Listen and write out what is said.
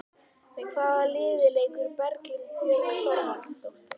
Með hvaða liði leikur Berglind Björg Þorvaldsdóttir?